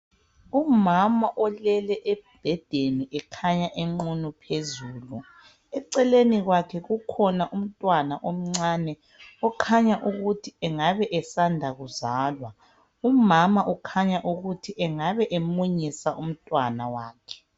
umama olele embhedeni ekhanya enqunu phezulu eceleni kwakhe kukhona umntwana omncane okhanya ukuthi engaba esanda kuzalwa umama ukhanya ukuthi engaba emunyisa umntwana wakhe